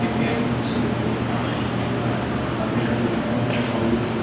repairing चल रही हैं उपर का आगे का जो ढकन होता है --